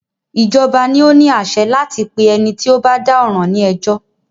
Ìjọba ni o ní àṣẹ láti pé ẹni tí o bá dá ọ̀ràn ní ẹjọ́.